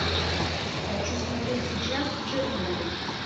хочу смотреть сейчас чернобыль